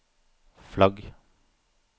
flagg